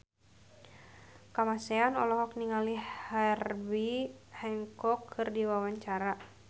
Kamasean olohok ningali Herbie Hancock keur diwawancara